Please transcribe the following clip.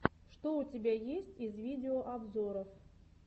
что у тебя есть из видеообзоров